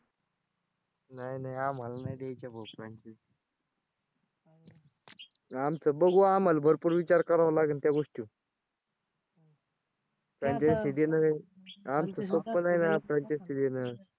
नाही नाही आम्हाला नाही द्यायची आहे बाबा franchise आमचं बघू आम्हाला भरपूर विचार करावा लागन त्या गोष्टीवर franchise देणं. आमचं सोपं नाही ना franchise देणं